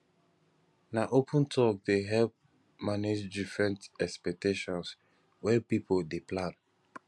na open talk dey help manage different expectations wen pipo dey plan